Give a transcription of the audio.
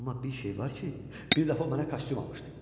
Amma bir şey var ki, bir dəfə o mənə kostyum almışdı.